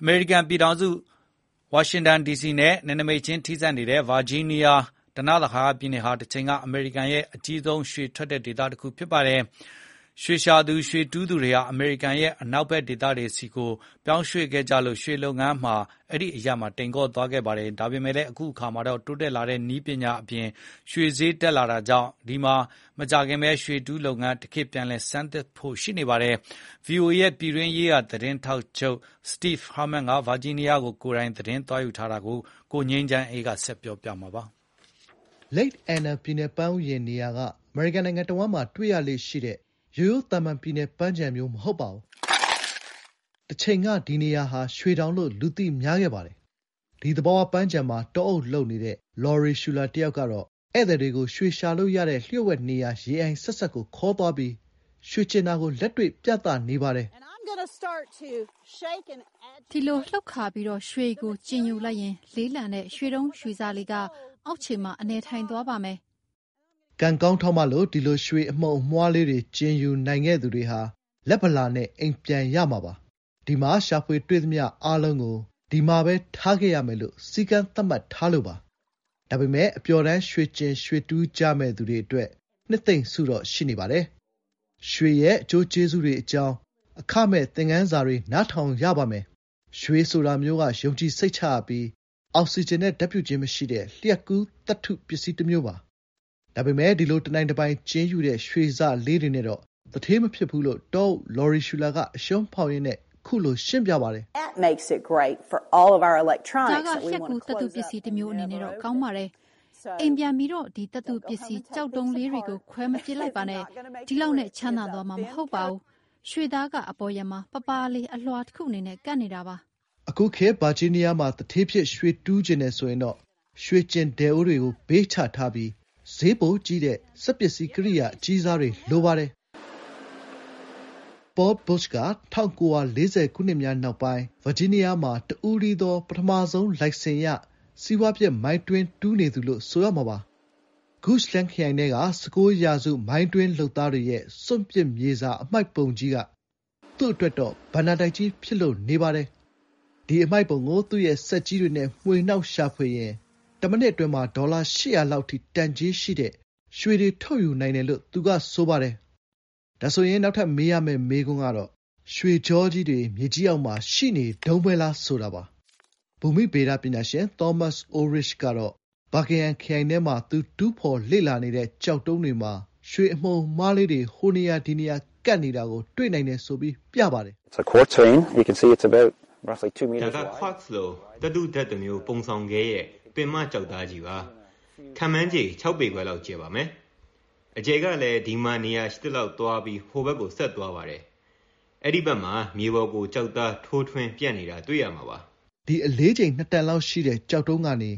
အမေရိကန်ပြည်ထောင်စု မြို့တော် ဝါရှင်တန်ဒီစီနဲ့ နယ်နိမိတ်ချင်း ထိစပ်နေတဲ့ ဗာဂျီးနီးယားဓနသဟာယပြည်နယ် ဟာ တချိန်က အမေရိကန်ရဲ့ အကြီးဆုံးရွှေ ထွက်တဲ့ ဒေသတခုပါ။ ရွေရှာ၊ ရွှေတူးသူတွေဟာ အမေရိကန်ရဲ့ အနောက်ဘက် ဒေသတွေဆီ ပြောင်းရွှေ့ခဲ့ကြလို့ ရွှေလုပ်ငန်းက အဲဒီမှာ တိမ်ကောခဲ့ပါတယ်။ ဒါပေမယ့် အခု အခါမှာတော့ တိုးတက်လာတဲ့ နည်းပညာ အပြင် ရွှေဈေးတွေ တက်လာတာကြောင့် အဲဒီမှာ မကြာခင် ရွှေတူးလုပ်ငန်း တခေတ် ပြန် ဆန်းသစ်လာဖို့ ရှိနေပါတယ်။ VOA ရဲ့ နိုင်ငံလုံးဆိုင်ရာ သတင်းထောက်ချုပ် စတိဗ်ဟာမန်း က ဗာဂျီးနီးယားကို ကိုယ်တိုင်သွား သတင်းရယူထားတာကို ကိုငြိမ်းချမ်းအေးက ပြန်လည် တင်ပြပါမယ်။ လိတ်အန်နာ ပြည်နယ် ပန်းဥယျာဉ် နေရာက အမေရိကန်နိုင်ငံ တဝန်းမှာ တွေ့ရလေ့ရှိတဲ့ ရိုးရိုး သာမန်ပြည်နယ်ပန်းခြံမဟုတ်ပါဘူး။ တချိန်က ဒီနေရာဟာ "ရွှေတောင်" လို့ လူသိများခဲ့ပါတယ်။ ဒီ သဘာဝပန်းခြံမှာ တောအုပ်လုပ်နေတဲ့ လောရီရှူလာ တယောက်ကတော့ ဧည့်သည်တွေကို ရွှေရှာလို့ရတဲ့ လျှို့ဝှက်နေရာ ရေအိုင်စပ်စပ်ကို ‌ခေါ်သွားပြီး ရွှေကျင်တာကို လက်တွေ့ ပြပါတယ်။ "ဒီလို လှုပ်ခါ ပြီး ရွှေကို ကျင်ယူလိုက်ရင် လေးလံတဲ့ ရွှေတုံး ရွှေစလေးက အောက်ခြေမှာ အနည်ည်ထိုင်သွားပါမယ်။" ကံကောင်းထောက်မလို့ ဒီလို ရွှေအမှုန်အမွှားလေးတွေကို ကျင်ယူနိုင်ခဲ့သူတွေဟာ လက်ဗလာနဲ့ အိမ်ပြန်ရမှာပါ။ ဒီမှာ ရှာဖွေတွေ့သမျှအားလုံးကို ဒီမှာပဲ ထားခဲ့ရမယ်လို့ စည်းကမ်းသတ်မှတ်ထားလို့ပါ။ ဒါပေမယ့် အပျော်တမ်း ရွှေကျင် ရွှေတူးကြမယ့်သူတွေ အတွက် နှစ်သိမ့်ဆုတော့ရှိပါတယ်။ ရွှေရဲ့ အကျိုးကျေးဇူးတွေ အကြောင်း အခမဲ့သင်ခန်းစာတွေ နားထောင်ရပါမယ်။ ရွှေဆိုတာမျိုးက ယုံကြည်စိတ်ချရပြီး အောက်စီဂျင်နဲ့ဓါတ်ပြုခြင်း မရှိတဲ့ လျှပ်ကူး သတ္တုပစ္စည်း တမျိုးပါ။ ဒါပေမယ့် ဒီလို တနိုင်တပိုင် ကျင်ယူတဲ့ ရွှေစလေးတွေနဲ့တော့ သူဌေးမဖြစ်ဘူး လို့ တောအုပ် လောရီရှူလာက အရွှန်းဖောက်ရင်းနဲ့ ရှင်းပြပါတယ်။ “ဒါက လျှပ်ကူး သတ္တုပစ္စည်း တမျိုးအနေနဲ့တော့ ကောင်းပါတယ်။ အိမ်ပြန်ပြီး ဒီ သတ္တုပစ္စည်း ‌ကျောက်တုံးတွေကို ခွဲမပစ်လိုက်နဲ့ဦးနော်။ ဒီလောက်နဲ့ ချမ်းသာ သွားမှာ မဟုတ်ဘူး။ ရွှေသားက အပေါ်ယံမှာ ပါးပါးလေး အလွှာတခု အနေနဲ့ ကပ်နေတာပါ။" "အခုခေတ် ဗာဂျီးနီးယားမှာ သူဌေးဖြစ် ရွှေတူးချင်တယ်ဆိုရင်တော့ ရွှေကျင်ဒယ်အိုးကို ဘေးချထားပြီး ဈေးပိုကြီးတဲ့ စက်ပစ္စည်း ကိရိယာ အကြီးစားတွေ လိုပါတယ်။" ပေါလ်ဘွတ်ရှ် က ၁၉၄၀ ခုနှစ်များနောက်ပိုင်း ဒီမှာ တဦးတည်းသော ပထမဆုံး လိုင်စင်ရ စီးပွားဖြစ်မိုင်းတွင်းတူးနေသူလို့ ဆိုရမှာပါ။ ဂုချ်လန်း ခရိုင်ထဲက ၁၉ ရာစု မိုင်းတွင်းလုပ်သားတွေရဲ့ စွန့်ပစ်မြေစာ အမှိုက်ပုံက သူ့အတွက် ဘဏ္ဍာတိုက်ကြီးပါပဲ။ ဒီအမှိုက်ပုံကို သူ့ရဲ့ စက်ကြီးတွေနဲ့ မွှေနှောက် ရှာဖွေရင် တမိနစ် အတွင်းမှာ ဒေါ်လာ ၈၀၀ လောက် အထိ တန် ကြေးရှိတဲ့ ရွှေတွေ ထုတ်ယူနိုင်တယ်လို့ ဆိုပါတယ်။ နောက်ထပ် မေးရမယ့် မေးခွန်းကတော့ ရွှေတွေ မြေကြီး အောက်မှာ ရှိနေတုန်းပဲလား ဆိုတာပါ။ ဘူမိဗေဒပညာရှင် သောမတ်စ်အိုးလ်ရစ်ချ် က ဘာကင်ဟမ် ခရိုင်ထဲမှာ သူ တူးဖော် လေ့လာနေတဲ့ ကျောက်တုံးတွေမှာ ရွှေအမှုန်အမွှားလေးတွေ ဟိုနေရာ၊ ဒီနေရာကပ်နေတာကို တွေ့နိုင်တယ်ဆိုပြီး ပြပါတယ်။ "ဒါက ကွပ်ဇ် လို့ သတ္တုဓာတ်တမျိုး ပုံဆောင်ခဲရဲ့ ပင်မ ကျောက်သားကြီးပါ။ ခန့်မှန်းခြေ ၆ ပေခွဲလောက် ကျယ်ပါမယ်။ အကျယ်ကလည်း ဒီမှာ နေရာ ရှိသလောက် သွားပြီး ဟိုဘက်ကို ဆက်သွားပါတယ်။ အဲဒီဘက်မှာ မြေပေါ်ကို ကျောက်သား ထိုးထွက် ပြန့်နေတာ တွေ့ရမှာပါ။" ဒီ တန်လောက် အလေးချိန်ရှိတဲ့ ကျောက်တုံးကနေ